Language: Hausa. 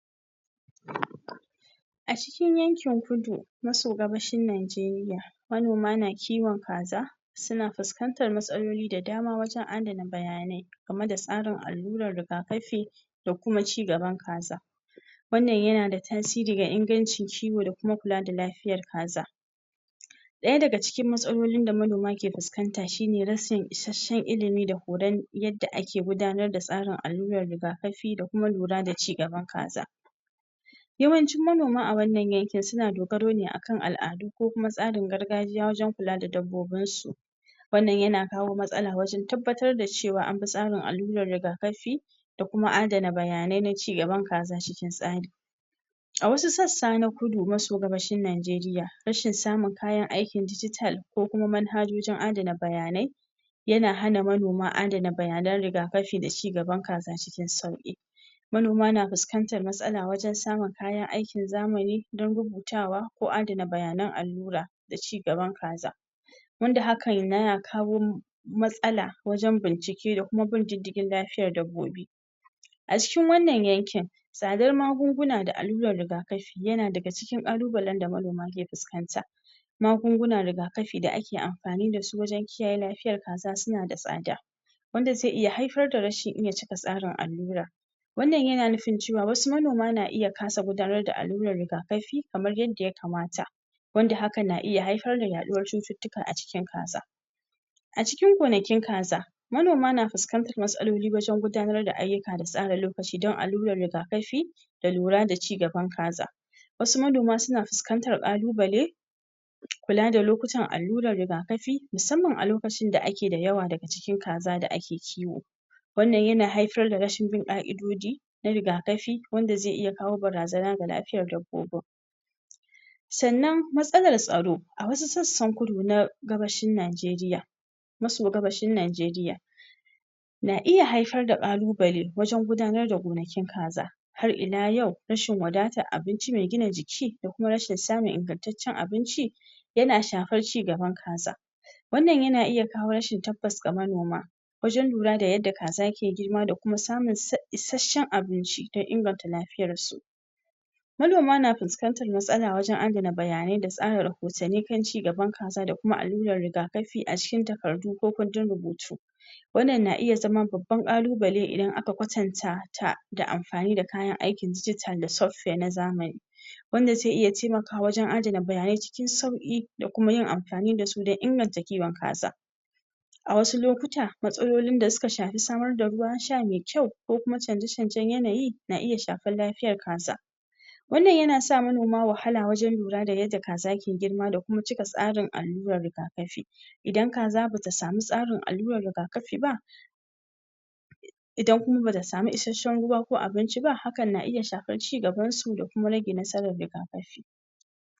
a cikin yankin kudu maso gabashin najeriya manoma na kiwon kaza suna fuskantar matsaloli da dama wajen adana bayanai gamai da tsarin aluran ruga kafi da kuma cigaban kaza wannan yana da tasiri ga inganci kiwon da kuma kula da lafiyar kaza daya daga cikn matsalolin da manoma ke fuskanta shine rashin isashen ilimi da horon yada ake gudanar da tsarin aluran rigakafi da kuma lura da cigaban kaza yawancin manoma a wannan yankim suna dogaro ne akan al'adu ko kuma tsarin gargajiya wajen kula da dabobinsu wannan yana kawo matsala wajen tabbatar da cewa abin tsarin alurar riga kafi da kuma adana bayanain na cigaban kaza cikic tsari a wasu sasa na kudu maso gabashin najeriya rashin samun kayan aiki digital ko kuma manhajojin adana bayanai yana hana manoma adana bayanai rigakafi da cigaban kaza cikin sauki manona na fuskantar matsalar wajen samun kayan aikin zamani don rubutawa ko adana bayanan alura da cigaban kaza wanda haka yana kawo matsala wajen bincike da kuma bin didigi lafiyar dabobi a cikin wannan yankin tsadar magunguna da alura rigakafi yana daga cikin kalubalen da manoma ke fuskantar magunguna rigakafi da ake amfani da su wajen kiyaye lafiyar kaza suna da tsada wanda zai iya haifar da rashin iya cika tsarin alura wannan yana nufin cewa wasu manona na iya kasa gudanar da alura rigakafi kaman yanda ya kamata wanda haka na iya haifar da yaduwar cutatuka a ciki kaza a cikin gonakin kaza manoma na fuskantar matsaloli wajen gudanar da ayuka da tsara lokacin don alurar rigakafi da lura da cigaban kaza wasu manona suna fuskantar kalubale kula da lokutan alura rigakafi musaman a lokacin da ake da yawa daga cikin kaza da ake kiwo wannan yana haifar da rashin bin kaidojin na riga kafi wanda zai iya kawo barazan ga lafiyan dabobin sannan matsalar tsaro a wasu sasan kudu na gabashin najeriysa maso gabashin najeriya na iya haifar da kalubale wajen gudanar da gonakin kaza hai ila yau rashin wadatan abinci mai gina jiki da kuma rashin samun ingatacen abinci yana shafar cigaban kaza wannan yan iya kawo rashin tabas ga manoma wajen lura da yada kaza ke girma da kuma samun isashen abinci don ingartar lafiyar su manoma na fuskantar matsala wajen adan bayanai da tsara rahotani kan cigaban kaza da kuma alura rigakafi a cikin takardu ko kundin rubutu wannan na iya zama baban kalubale idan aka kwatanta ta da amfani dakayan aiki digital da software na zamani wanda zai iya taimakawa wajen adana bayanai cikin sauki da kumayin amfani da su don inganta kiwon kaza a wasu lokuta matsalolin da suka shafi samar da ruwan sha mai kyau ko kuma chanja chanja yanayi na iya shafar lafiyar kaza wannan yana sa manoma wahalar wajen lura da yada kasa ke girma da kuma cika tsarin alura rigakafi idan kaza bata samu tsarin alura rigakafi bah idan kuma bata samu isashen ruwa ko abinchi bah haka na iya shafar cigaban su da kuma rage nasaran rigakafi